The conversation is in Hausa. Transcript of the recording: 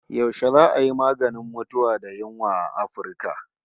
Yashe za'a yi maganin mutuwa da yunwa a Afirka?